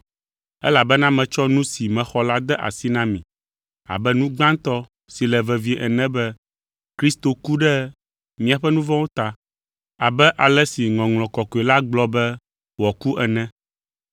Elabena metsɔ nu si mexɔ la de asi na mi, abe nu gbãtɔ si le vevie ene be Kristo ku ɖe míaƒe nu vɔ̃wo ta abe ale si Ŋɔŋlɔ Kɔkɔe la gblɔ be wòaku ene.